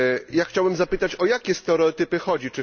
Ja chciałem zapytać, o jakie stereotypy chodzi?